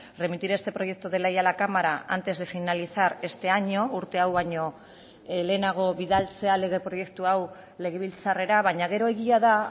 remitir este proyecto de ley a la cámara antes de finalizar este año urte hau baino lehenago bidaltzea lege proiektu hau legebiltzarrera baina gero egia da